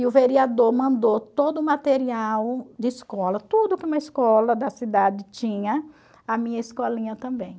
E o vereador mandou todo o material de escola, tudo que uma escola da cidade tinha, a minha escolinha também.